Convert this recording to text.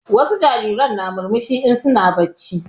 Wasu jarirai na murmushi in su na bacci